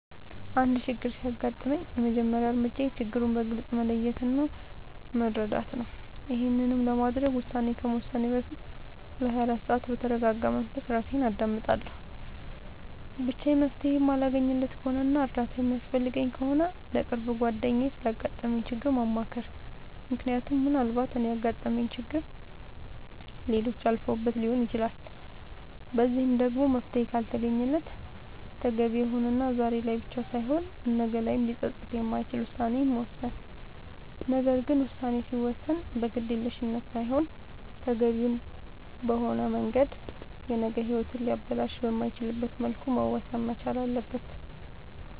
አንድ ችግር ሲያጋጥመኝ የመጀመሪያ እርምጃዬ ችግሩን በግልፅ መለየት እና መረዳት ነዉ ይሄንንም ለማድረግ ውሳኔ ከመወሰኔ በፊት ለ24 ሰዓት በተርጋጋ መንፈስ እራሴን አዳምጣለሁ ብቻዬን መፍትሄ የማለገኝለት ከሆነና እርዳታ የሚያስፈልገኝ ከሆነ ለቅርብ ጓደኛዬ ስላጋጠመኝ ችግር ማማከር ምክንያቱም ምናልባት እኔ ያጋጠመኝን ችግር ሌሎች አልፈውበት ሊሆን ይችላል በዚህም ደግሞ መፍትሄ ካልተገኘለት ተገቢ የሆነና ዛሬ ላይ ብቻ ሳይሆን ነገ ላይም ሊፀፅት የማይችል ውሳኔን መወሰን ነገር ግን ውሳኔ ሲወሰን በግዴለሽነት ሳይሆን ተገቢውን በሆነ መንገድ የነገ ሂወትን ሊያበላሽ በማይችልበት መልኩ መወሰን መቻል ነዉ